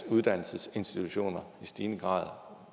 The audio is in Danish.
at uddannelsesinstitutioner i stigende grad